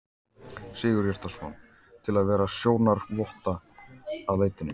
Sigurhjartarson, til að vera sjónarvotta að leitinni.